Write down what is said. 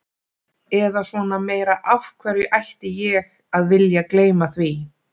Eða svona meira, af hverju ætti ég að vilja gleyma því?